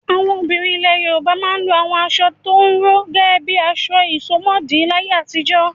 Àwọn obìnrin ilẹ̀ Yorùbá máa ń lo àwọn aṣọ tó rọ̀ gẹ́gẹ́ bí aṣọ ìsomọ́ọ̀dí láyé àtijọ́.